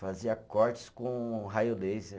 Fazia cortes com raio laser.